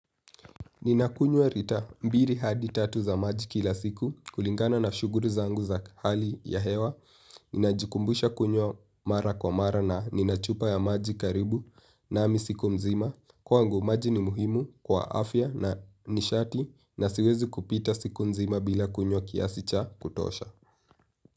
Ninakunywa rita mbiri hadi tatu za maji kila siku kulingana na shuguri zangu za hali ya hewa. Ninajikumbusha kunywa mara kwa mara na ninachupa ya maji karibu nami siku mzima. Kwangu maji ni muhimu kwa afya na nishati na siwezi kupita siku nzima bila kunywa kiasi cha kutosha.